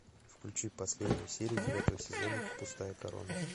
включи последнюю серию девятого сезона пустая корона